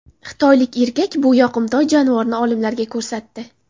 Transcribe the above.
Xitoylik erkak bu yoqimtoy jonivorni olimlarga ko‘rsatdi.